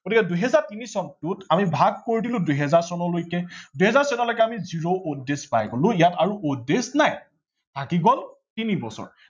গতিকে দুহেজাৰ তিনি চনটোত আমি ভাগ কৰি দিলো দুহেজাৰ চনলৈকে, দুহেজাৰ চনলৈকে আমি zero odd days পাই গলো ইয়াত আৰু odd days নাই। থাকি গল তিনি বছৰ